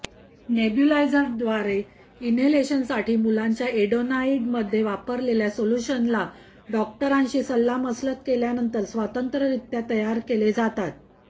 नेब्युलायझरद्वारे इनहेलेशनसाठी मुलांच्या एडेनोइडमध्ये वापरलेल्या सोल्युशन्सला डॉक्टरांशी सल्लामसलत केल्यानंतर स्वतंत्ररित्या तयार केले जातात